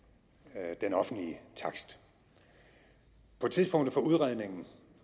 af den offentlige takst på tidspunktet for udredningen